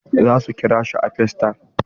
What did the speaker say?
Za su kira shi a facetime.